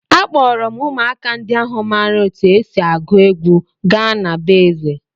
Akpọọrọ m ụmụaka ndị ahụ maara otú e si agụ egwu gaa na be eze.